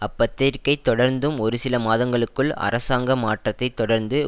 அப்பத்திரிகை தொடர்ந்தும் ஒரு சில மாதங்களுக்குள் அரசாங்க மாற்றத்தை தொடர்ந்து